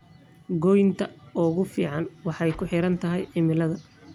Goynta ugu fiican waxay kuxirantahay cimilada.